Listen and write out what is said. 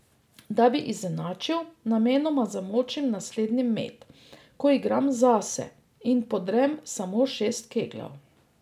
Da bi izenačil, namenoma zamočim naslednji met, ko igram zase, in podrem samo šest kegljev.